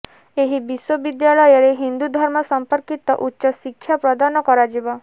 ଏହି ବିଶ୍ୱବିଦ୍ୟାଳୟରେ ହିନ୍ଦୁ ଧର୍ମ ସମ୍ପର୍କିତ ଉଚ୍ଚ ଶିକ୍ଷା ପ୍ରଦାନ କରାଯିବ